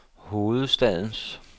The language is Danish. hovedstadens